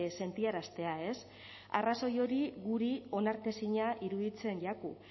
sentiaraztea arrazoi hori guri onartezina iruditzen jaku